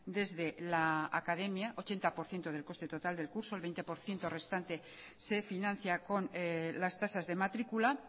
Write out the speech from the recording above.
desde la academia ochenta por ciento del coste total del curso el veinte por ciento restante se financia con las tasas de matrícula